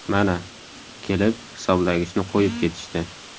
Mana, kelib, hisoblagichni qo‘yib ketishdi.